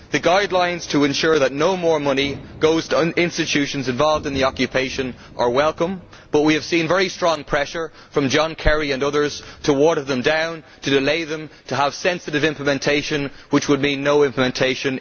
The guidelines to ensure that no more money goes to institutions involved in the occupation are welcome, but we have seen very strong pressure from John Kerry and others to water them down, to delay them and to have sensitive' implementation, which in reality would mean no implementation.